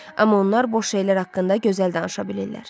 Amma onlar boş şeylər haqqında gözəl danışa bilirlər.